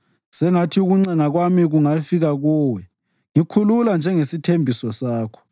Sengathi ukuncenga kwami kungafika kuwe; ngikhulula njengesithembiso sakho.